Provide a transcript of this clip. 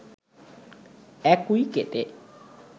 ১ উইকেটে